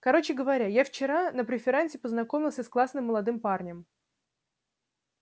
короче говоря я вчера на преферансе познакомился с классным молодым парнем